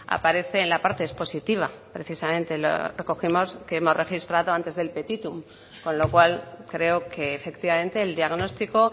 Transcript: aparece en la parte expositiva precisamente recogemos que hemos registrado antes del petitum con lo cual creo que efectivamente el diagnóstico